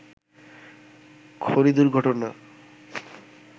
খনি দুর্ঘটনা